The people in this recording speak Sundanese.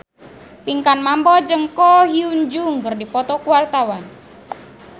Pinkan Mambo jeung Ko Hyun Jung keur dipoto ku wartawan